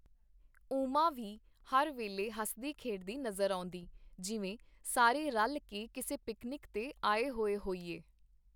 ਉਮਾ ਵੀ ਹਰ ਵੇਲੇ ਹੱਸਦੀ-ਖੇਡਦੀ ਨਜ਼ਰ ਆਉਂਦੀ, ਜਿਵੇਂ ਸਾਰੇ ਰਲ ਕੇ ਕਿਸੇ ਪਿਕਨਿਕ ਤੇ ਆਏ ਹੋਏ ਹੋਈਏ.